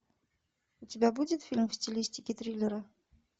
у тебя будет фильм в стилистике триллера